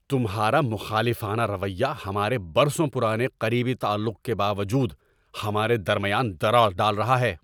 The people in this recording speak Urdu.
تمہارا مخالفانہ رویہ ہمارے برسوں پرانے قریبی تعلق کے باوجود ہمارے درمیان درار ڈال رہا ہے۔